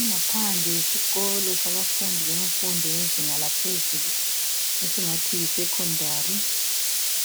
Ingaphandle yesikolo sabafundi bezinga laphezulu esingathi yiSekhondari.